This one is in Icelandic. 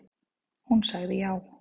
Hún sagði já.